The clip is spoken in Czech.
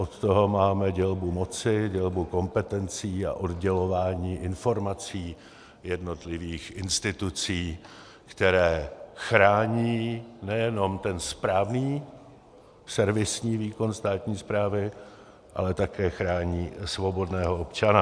Od toho máme dělbu moci, dělbu kompetencí a oddělování informací jednotlivých institucí, které chrání nejenom ten správný servisní výkon státní správy, ale také chrání svobodného občana.